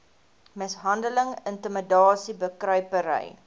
mishandeling intimidasie bekruipery